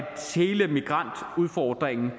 hele migrantudfordringen